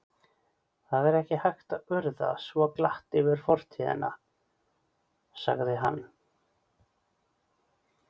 Það er ekki hægt að urða svo glatt yfir fortíðina sagði hann.